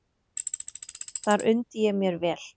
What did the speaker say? Þar undi ég mér vel.